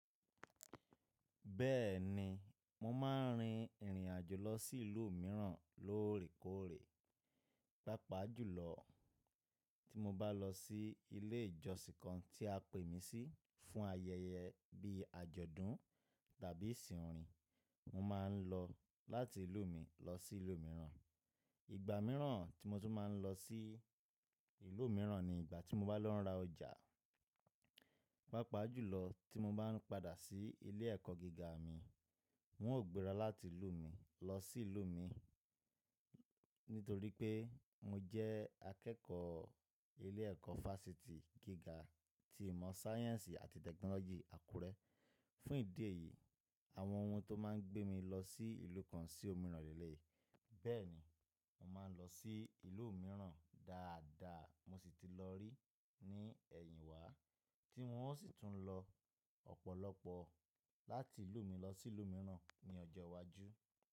Bẹ́ẹ̀ ni, mo máa ń rin ìrìn àjò lọ sí ìlú mìíràn lóòrèkóòrè. Pápá jùlọ tí mo bá lọ sí ilé ìjọsìn kan tí a pè mí sí fún ayẹyẹ bí i àjọ̀dún tàbí ìsìn orin, mo máa ń lọ láti ìlú mi lọ sí ìlú mìíràn. Ìgbà mìíràn tí mo tún máa ń lọ sí ìlú mìíràn ni ìgbà tí mo bá lọ ra ọjà. Pápá jùlọ tí mo bá ń padà sí ilé ẹ̀kọ́ gíga mi, n ó gbéra láti ìlú mi lọ sí ìlú mi nítorí pé mo jẹ́ akẹ́kọ̀ọ́ ilé ẹ̀kọ́ versity gíga ti ìmọ̀ sciences àti technology Àkúrẹ́. Fún ìdí èyí, àwọn oun tó máa ń gbé mi lọ sí ìlú kan sì òmíràn lélẹ̀ yìí Bẹ́ẹ̀ ni, mo máa ń lọ sí ìlú mìíràn dáadáa mo sì ti lọ rí i ní ẹ̀yìn wá tí n ó sì tún lọ ọ̀pọ̀lọpọ̀ láti ìlú mi lọ sí ìlú mìíràn ní ọjọ́ iwájú.